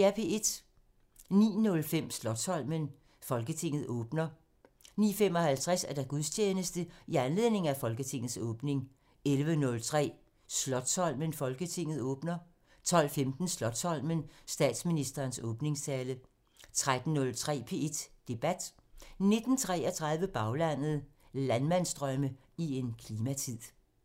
09:05: Slotsholmen: Folketinget åbner 09:55: Gudstjeneste i anledning af Folketingets åbning 11:03: Slotsholmen: Folketinget åbner 12:15: Slotsholmen: Statsministerens åbningstale 13:03: P1 Debat 19:33: Baglandet: Landmandsdrømme i en klimatid